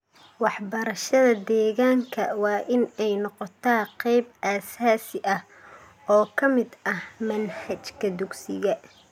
Waxbarashada deegaanka waa in ay noqotaa qayb aasaasi ah oo ka mid ah manhajka dugsiga.